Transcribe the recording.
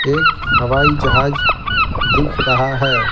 एक हवाई जहाज दिख रहा है ।